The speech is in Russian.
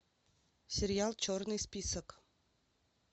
сериал черный список